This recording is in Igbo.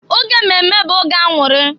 Oge mmemme bụ oge aṅụrị.